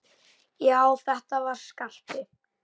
Já, þetta var Skarpi!